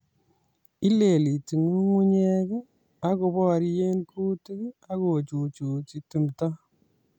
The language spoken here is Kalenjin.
Ileliti nyung'unyek, akoborye kuutik akochuchuchi timdo